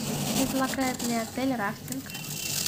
предлагает ли отель рафтинг